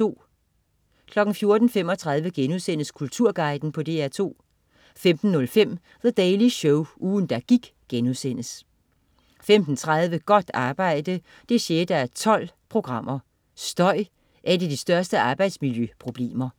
14.35 Kulturguiden på DR2* 15.05 The Daily Show. Ugen, der gik* 15.30 Godt arbejde 6:12. Støj er et af de største arbejdsmiljøproblemer